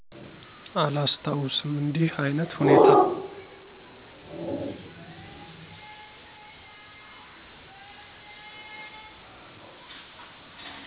አላስታውስም እንዲህ አይነት ሁኔታ።